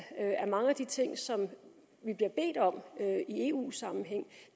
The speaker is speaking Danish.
at mange af de ting som vi bliver bedt om i eu sammenhæng